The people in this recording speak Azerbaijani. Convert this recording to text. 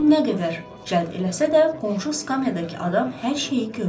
Bunun nə qədər cəlb eləsə də, qonşu skamyadakı adam hər şeyi gördü.